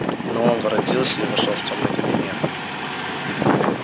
но он воротился и вошёл в тёмный кабинет